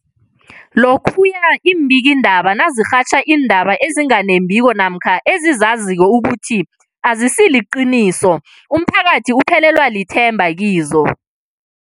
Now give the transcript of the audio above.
Lokhuya iimbikiindaba nazirhatjha iindaba ezinga nembiko namkha ezizaziko ukuthi azisiliqiniso, umphakathi uphelelwa lithemba kizo.